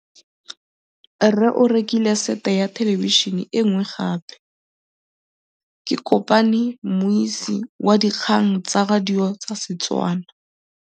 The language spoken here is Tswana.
Rre o rekile sete ya thêlêbišênê e nngwe gape. Ke kopane mmuisi w dikgang tsa radio tsa Setswana.